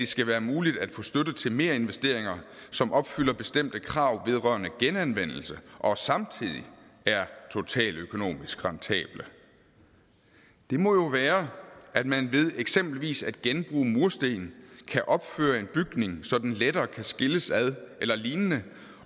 skal være muligt at få støtte til merinvesteringer som opfylder bestemte krav vedrørende genanvendelse og samtidig er totaløkonomisk rentable det må jo være at man ved eksempelvis at genbruge mursten kan opføre en bygning så den lettere kan skilles ad eller lignende